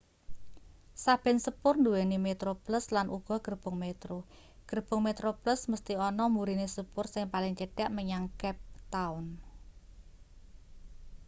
saben sepur nduweni metroplus lan uga gerbong metro gerbong metroplus mesthi ana mburine sepur sing paling cedhak menyang cape town